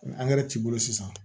Ni angɛrɛ t'i bolo sisan